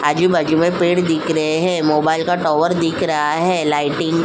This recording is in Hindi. आजु-बाजू में पेड़ दिख रहे हैं मोबाइल का टावर दिख रहा है लाइटिंग --